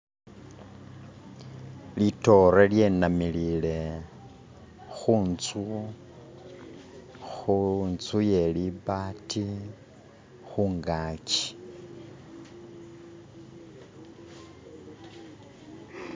Lidote linamilile kunzu kunzu iye libaati kungaji.